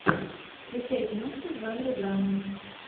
включай киношку в жанре драма